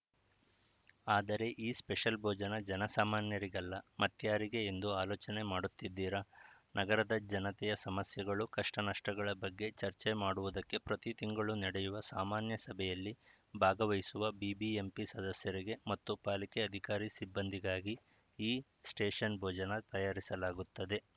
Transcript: ಆದರೆ ಈ ಸ್ಪೆಷಲ್‌ ಭೋಜನ ಜನಸಾಮಾನ್ಯರಿಗಲ್ಲ ಮತ್ಯಾರಿಗೆ ಎಂದು ಅಲೋಚನೆ ಮಾಡುತ್ತಿದ್ದೀರಾ ನಗರದ ಜನತೆಯ ಸಮಸ್ಯೆಗಳು ಕಷ್ಟನಷ್ಟಗಳ ಬಗ್ಗೆ ಚರ್ಚೆ ಮಾಡುವುದಕ್ಕೆ ಪ್ರತಿ ತಿಂಗಳು ನಡೆಯುವ ಸಾಮಾನ್ಯ ಸಭೆಯಲ್ಲಿ ಭಾಗವಹಿಸುವ ಬಿಬಿಎಂಪಿ ಸದಸ್ಯರಿಗೆ ಮತ್ತು ಪಾಲಿಕೆ ಅಧಿಕಾರಿ ಸಿಬ್ಬಂದಿಗಾಗಿ ಈ ಸ್ಪೆಷನ್‌ ಭೋಜನ ತಯಾರಿಸಲಾಗುತ್ತದೆ